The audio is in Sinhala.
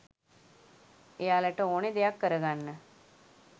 එයාලට ඕනේ දෙයක් කරගන්න